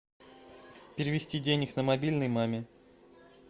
перевести денег на мобильный маме